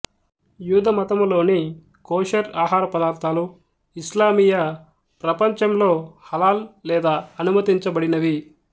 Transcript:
యూద మతములోని కోషర్ ఆహారపదార్థాలు ఇస్లామీయ ప్రపంచంలో హలాల్ లేదా అనుమతించబడినవి